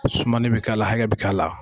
Sumanl bɛ k'a la, hakɛ bɛ k'a la.